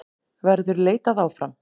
Verður leitað áfram?